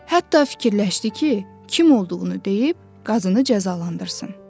Hətta fikirləşdi ki, kim olduğunu deyib qazını cəzalandırsın.